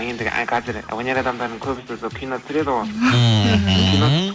ендігі а қазір өнер адамдарының көбісі сол кино түсіреді ғой мхм